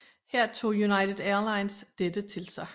Her tog United Airlines dette til sig